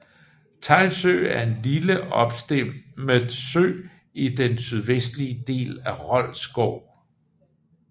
Teglsø er en lille opstemmet sø i den sydvestlige del af Rold Skov